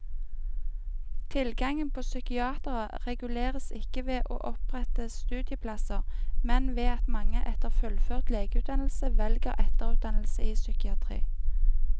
Tilgangen på psykiatere reguleres ikke ved å opprette studieplasser, men ved at mange etter fullført legeutdannelse velger etterutdannelse i psykiatri.